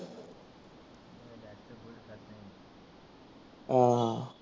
अं ह